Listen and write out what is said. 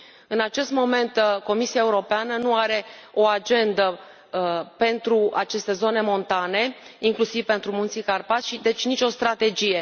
În acest moment, Comisia Europeană nu are o agendă pentru aceste zone montane, inclusiv pentru Munții Carpați și, deci, nicio strategie.